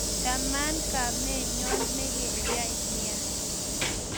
chaman kamenyon nekeyai nea